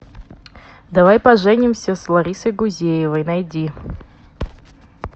давай поженимся с ларисой гузеевой найди